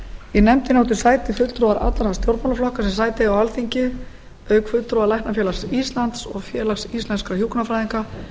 í nefndinni áttu sæti fulltrúar allra stjórnmálaflokka sem sæti eiga á alþingi auk fulltrúa læknafélags íslands og félags íslenskra hjúkrunarfræðinga